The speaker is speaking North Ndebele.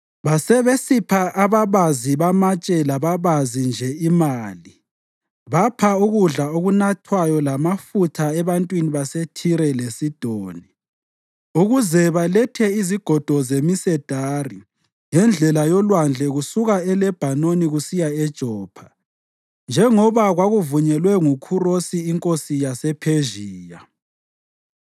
Basebesipha ababazi bamatshe lababazi nje imali, bapha ukudla lokunathwayo lamafutha ebantwini baseThire leSidoni, ukuze balethe izigodo zemisedari ngendlela yolwandle kusuka eLebhanoni kusiya eJopha njengoba kwakuvunyelwe nguKhurosi inkosi yasePhezhiya.